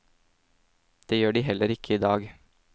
Det gjør de heller ikke i dag.